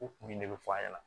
O kun de be fɔ a ɲɛna